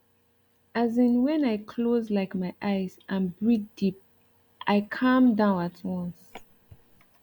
as in when i close like my eyes and breathe deep i calm down at once